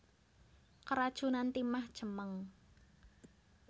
Keracunan timah cemeng